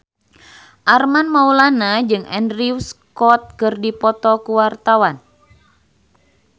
Armand Maulana jeung Andrew Scott keur dipoto ku wartawan